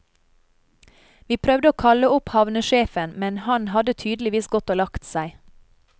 Vi prøvde å kalle opp havnesjefen, men han hadde tydeligvis gått og lagt seg.